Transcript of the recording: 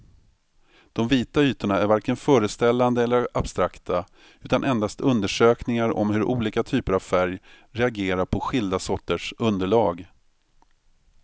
De vita ytorna är varken föreställande eller abstrakta utan endast undersökningar om hur olika typer av färg reagerar på skilda sorters underlag.